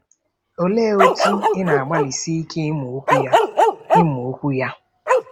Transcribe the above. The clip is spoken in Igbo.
Olee otú ị na-agbalịsi ike ịmụ Okwu ya? ịmụ Okwu ya?